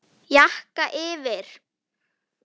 Jakka yfir?